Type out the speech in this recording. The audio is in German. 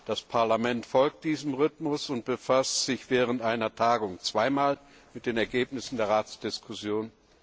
Das Parlament folgt diesem Rhythmus und befasst sich während einer Tagung zweimal mit den Ergebnissen der Ratsdiskussion.